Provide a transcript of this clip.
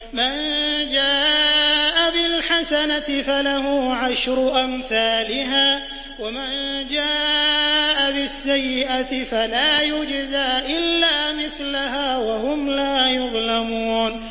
مَن جَاءَ بِالْحَسَنَةِ فَلَهُ عَشْرُ أَمْثَالِهَا ۖ وَمَن جَاءَ بِالسَّيِّئَةِ فَلَا يُجْزَىٰ إِلَّا مِثْلَهَا وَهُمْ لَا يُظْلَمُونَ